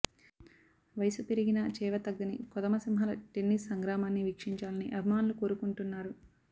వయసు పెరిగినా చేవతగ్గని కొదమ సింహాల టెన్నిస్ సంగ్రామాన్ని వీక్షించాలని అభిమానులు కోరుకుంటున్నారు